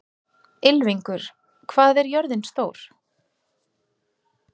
Ylfingur, hvað er jörðin stór?